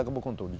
Acabou com tudo.